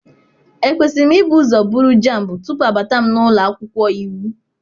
Ekwesịrị m ibu ụzọ buru JAMB tupu abata m n'ụlọ akwụkwọ iwu?